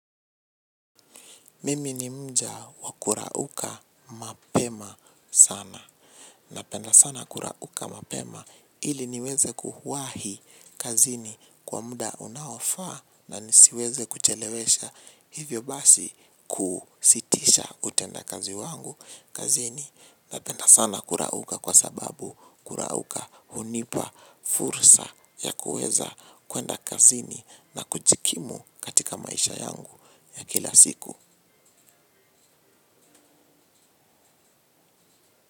Mimi ni mja wa kurauka mapema sana. Napenda sana kurauka mapema ili niweze kuuwahi kazini kwa muda unaofaa na nisiweze kuchelewesha hivyo basi kusitisha utenda kazi wangu kazini. Napenda sana kurauka kwa sababu kurauka hunipa fursa ya kuweza kuenda kazini na kujikimu katika maisha yangu ya kila siku.